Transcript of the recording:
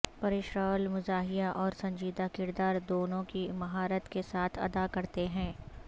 پریش راول مزاحیہ اور سنجیدہ کردار دونوں ہی مہارت کے ساتھ ادا کرتے ہیں